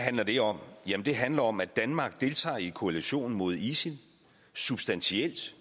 handler det om jamen det handler om at danmark deltager i koalitionen mod isil substantielt